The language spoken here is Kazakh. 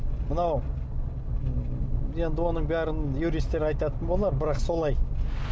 мынау енді оның бәрін юристтер айтатын болар бірақ солай